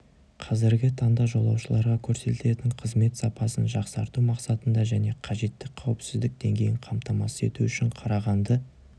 қазіргі таңда жолаушыларға көрсетілетін қызмет сапасын жақсарту мақсатында және қажетті қауіпсіздік деңгейін қамтамасыз ету үшін қарағанды